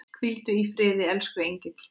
Hvíldu í friði, elsku engill.